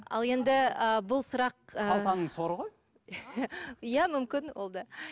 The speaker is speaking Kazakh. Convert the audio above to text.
ал енді ы бұл сұрақ ы қалтаның соры ғой иә мүмкін ол да